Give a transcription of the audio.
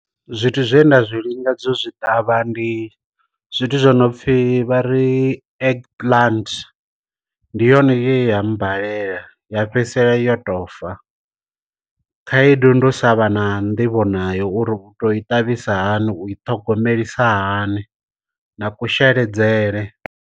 Zwithu zwe nda zwi lingedze zwi ṱavha ndi zwithu zwi no pfhi vha ri egg plant ndi yone ya mmbalela ya fhedzisela yo to fa, khaedu ndi u sa vha na nḓivho nayo, uri u to i ṱavhisa hani, u i thogomelisa hani na kusheledzele.